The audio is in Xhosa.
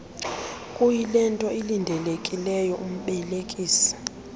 kuyilento ilindelekileyo umbelekisi